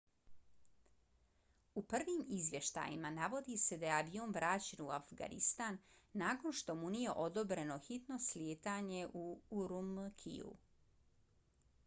u prvim izvještajima navodi se da je avion vraćen u afganistan nakon što mu nije odobreno hitno slijetanje u ürümqiju